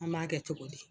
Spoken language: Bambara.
An b'a kɛ cogo di